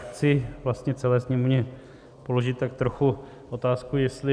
Chci vlastně celé Sněmovně položit tak trochu otázku, jestli...